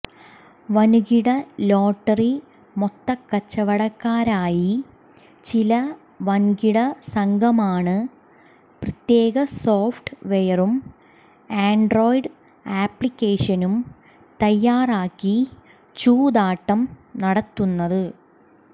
വന്കിട lottery മൊത്തക്കച്ചവടക്കാരായി ചില വന്കിടസംഘമാണ് പ്രത്യേക സോഫ്റ്റ് വെയറും ആന്ഡ്രോയിഡ് ആപ്ലിക്കേഷനും തയ്യാറാക്കി ചൂതാട്ടം നടത്തുന്നത്